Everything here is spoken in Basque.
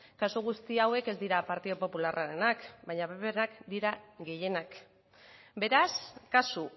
kasu guzti hauek ez dira partido popularrarenak baina pprenak dira gehienak beraz kasu